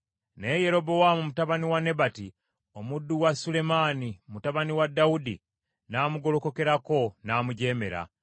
Naye Yerobowaamu mutabani wa Nebati, omuddu wa Sulemaani mutabani wa Dawudi, n’amugolokokerako n’amujeemera.